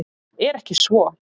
Er ekki svo?